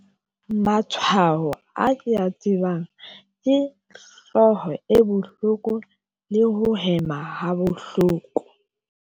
Matshwao a ke ya tsebang ke hlooho e bohloko le ho hema ha bohloko.